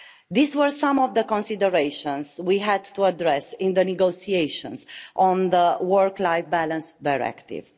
These were some of the considerations we had to address in the negotiations on the work-life balance directive.